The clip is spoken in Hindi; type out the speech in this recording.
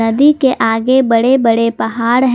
नदी के आगे बड़े बड़े पहाड़ हैं।